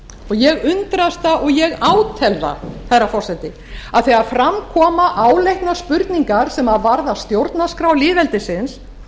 ég undrast það og ég átel það herra forseti að þegar fram koma áleitnar spurningar sem varða stjórnarskrá lýðveldisins